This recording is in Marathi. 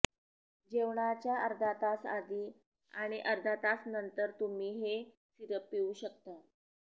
जेवणाच्या अर्धा तास आधी आणि अर्धा तास नंतर तुम्ही हे सिरप पिऊ शकता